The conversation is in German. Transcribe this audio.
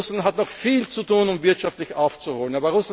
Russland hat noch viel zu tun, um wirtschaftlich aufzuholen.